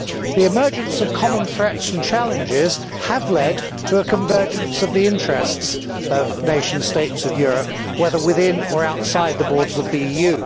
The emergence of common threats and challenges have led to a convergence of the interests of the nation states of Europe, whether within or outside the borders of the EU.